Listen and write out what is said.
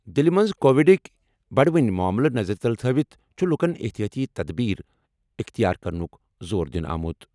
دِلہِ منٛز کووِڈٕکۍ بَڑوٕنۍ معملن نظرِ تَل تھٲوِتھ چُھ لُکن احتِیاطی تدابیر اختیار کرنُک زور دِنہٕ آمُت۔